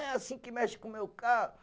É assim que mexe com o meu carro.